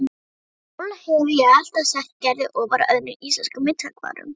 Sjálf hefi ég alltaf sett Gerði ofar öðrum íslenskum myndhöggvurum